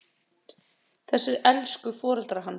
Þessir elsku foreldrar hans!